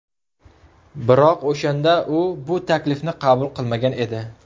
Biroq o‘shanda u bu taklifni qabul qilmagan edi.